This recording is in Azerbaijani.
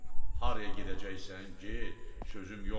Haraya gedəcəksən, get, sözüm yoxdur.